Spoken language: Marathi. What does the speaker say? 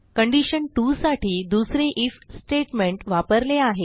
कंडिशन 2 साठी दुसरे आयएफ स्टेटमेंट वापरले आहे